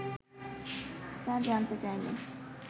তা জানতে চাইলে